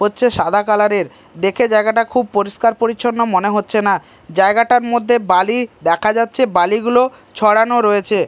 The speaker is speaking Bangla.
হচ্ছে সাদা কালার -এর দেখে জায়গাটা খুব পরিষ্কার পরিচ্ছন্ন মনে হচ্ছে না জায়গাটার মধ্যে বালি দেখা যাচ্ছে বালিগুলো ছড়ানো রয়েছে।